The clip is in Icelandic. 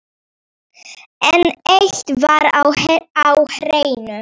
En eitt var á hreinu.